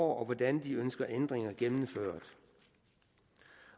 hvordan de ønsker ændringer gennemført